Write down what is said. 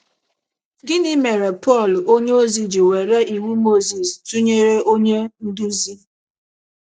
Gịnị mere Pọl onyeozi ji were Iwu Mozis tụnyere onye nduzi?